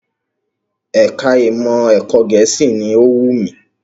Ẹ̀ka ìmọ̀ ẹ̀kọ́ Gẹ̀ẹ́sì ni ó wù mí